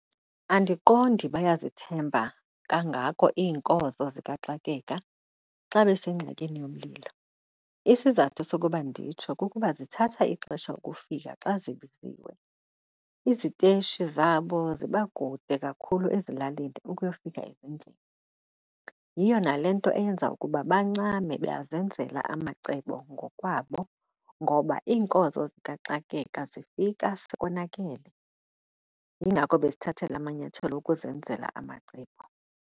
Andiqondi bayazithemba kangako iinkonzo zikaxakeka xa besengxakini yomlilo. Isizathu sokuba nditsho kukuba zithatha ixesha ukufika xa zibiziwe. Iziteshi zabo ziba kude kakhulu ezilalini ukuyofika ezindlini. Yiyo nale nto eyenza ukuba bancame bazenzela amacebo ngokwabo, ngoba iinkonzo zikaxakeka zifika sekonakele. Yingako bezithathela amanyathelo okuzenzela amacebo.